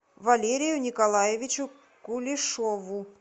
валерию николаевичу кулешову